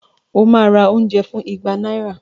Ó ma ra oúnjẹ fún ìgbà náírà